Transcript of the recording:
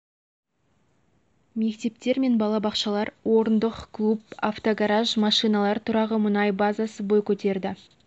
мектептер мен бала бақшалар орындық клуб автогараж машиналар тұрағы мұнай базасы бой көтерді